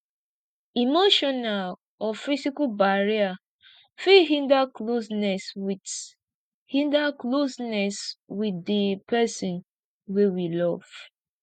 emotional or physical barrier fit hinder closeness with hinder closeness with di person wey we love